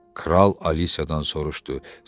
Kral Alisadan soruşdu: